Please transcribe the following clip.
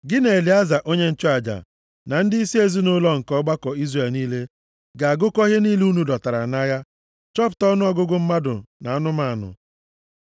“Gị na Elieza onye nchụaja, na ndịisi ezinaụlọ nke ọgbakọ Izrel niile, ga-agụkọ ihe niile unu dọtara nʼagha chọpụta ọnụọgụgụ mmadụ na anụmanụ.